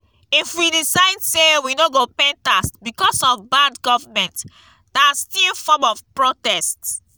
if we decide say we no go pay tax becos of bad government na still form of protest